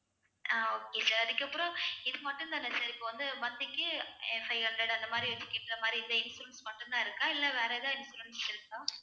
அஹ் okay sir அதுக்கப்புறம் இது மட்டும்தானே sir இப்போ வந்து monthly க்கு five hundred அந்தமாதிரி scheme இந்த மாதிரி insurance மட்டும்தான் இருக்கா இல்லை வேற எதாவது insurance இருக்கா